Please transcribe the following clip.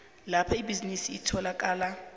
lapho ibhizinisi litholakala